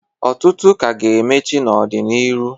Ọtụtụ k' a ga-emechi n'ọdị n'iru.